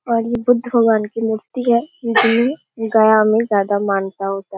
और ये बुद्ध भगवान की मूर्ति है जिसमें ये गया में ज़्यादा मान्यता होता --